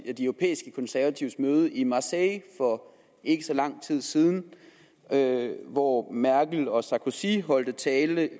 jo de europæiske konservatives møde i marseille for ikke så lang tid siden hvor merkel og sarkozy holdt tale